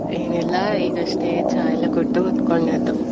ಎನಿಲ್ಲ ಈಗಷ್ಟೇ ಚಾ ಎಲ್ಲ ಕುಡ್ದು ಕುತ್ಕೊಂಡದ್ದು.